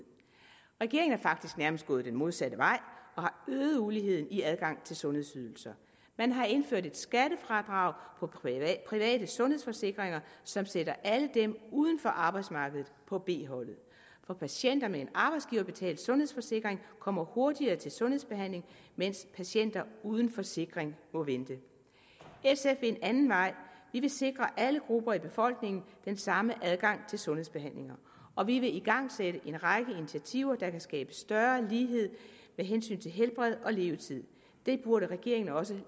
regeringen er faktisk nærmest gået den modsatte vej og har øget uligheden i adgangen til sundhedsydelser man har indført et skattefradrag på private sundhedsforsikringer som sætter alle dem uden for arbejdsmarkedet på b holdet patienter med en arbejdsgiverbetalt sundhedsforsikring kommer hurtigere til sundhedsbehandling mens patienter uden forsikring må vente sf vil en anden vej vi vil sikre alle grupper i befolkningen den samme adgang til sundhedsbehandlinger og vi vil igangsætte en række initiativer der kan skabe større lighed med hensyn til helbred og levetid det burde regeringen også